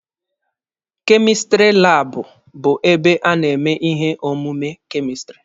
Kemistiri laabụ bụ ebe a na-eme ihe omume kemistiri.